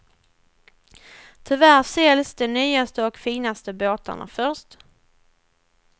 Tyvärr säljs de nyaste och finaste båtarna först.